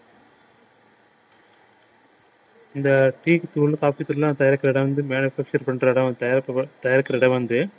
இந்த tea தூள் coffee தூளா தயாரிக்கிற இடம் வந்து manufacture பண்ற இடம் தயாரிக்கிற இடம் வந்து